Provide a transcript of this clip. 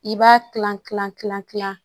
I b'a kilan kilan kilan kilan